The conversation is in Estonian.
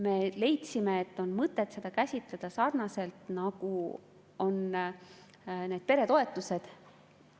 Me leidsime, et on seda käsitleda sarnaselt, nagu on need peretoetused.